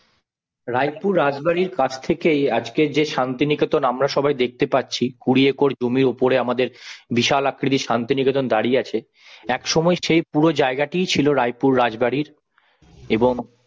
রায়পুর রাজবাড়ির কাছ থেকেই আজকে যে শান্তিনিকেতন আমরা সবাই দেখতে পাচ্ছি কুড়ি একর জমির ওপরে আমাদের বিশাল আকৃতির শান্তিনিকেতন দাঁড়িয়ে আছে এক সময় সে পুরো জায়গাটি ছিল রায়পুর রাজবাড়ির এবং